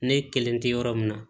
Ne kelen tɛ yɔrɔ min na